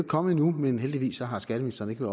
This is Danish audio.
kommet endnu men heldigvis har skatteministeren ikke